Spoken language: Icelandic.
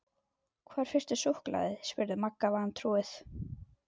Hvar fékkstu súkkulaði? spurði Magga vantrúuð.